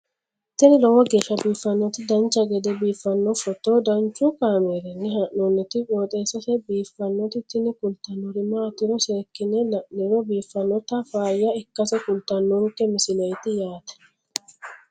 tini lowo geeshsha biiffannoti dancha gede biiffanno footo danchu kaameerinni haa'noonniti qooxeessa biiffannoti tini kultannori maatiro seekkine la'niro biiffannota faayya ikkase kultannoke misileeti yaate